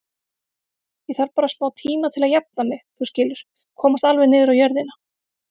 Ég þarf bara smátíma til að jafna mig, þú skilur, komast alveg niður á jörðina.